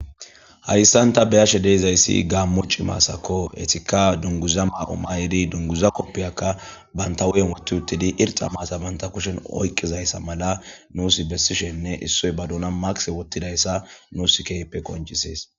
Hayssan ta beyashe deezayssi gaammoci maasako etika dunguza maao mayidi dunguza koppiyakka banta wu7en wotti uttidi irxa maasa banta kushen oykqizayssa mala nuus bessishenne issoy baduna maqse wottidayssa nuus keype koncisees.